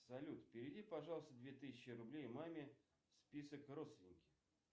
салют переведи пожалуйста две тысячи рублей маме список родственники